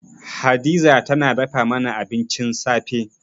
Hadiza tana dafa mana abincin safe.